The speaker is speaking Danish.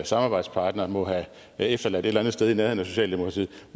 samarbejdspartnere må have efterladt et eller andet sted i nærheden af socialdemokratiet